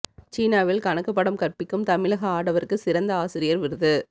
சீனாவில் கணக்குப் பாடம் கற்பிக்கும் தமிழக ஆடவருக்கு சிறந்த ஆசிரியர் விருது